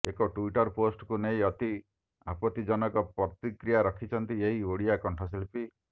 ଏକ ଟ୍ୱିଟର ପୋଷ୍ଟକୁ ନେଇ ଅତି ଆପତିଜନକ ପ୍ରତିକ୍ରିୟା ରଖିଛନ୍ତି ଏହି ଓଡିଆ କଂଠଶିଳ୍ପୀ